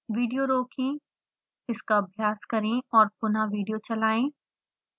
video रोकें इसका अभ्यास करें और पुनः विडियो चलाएं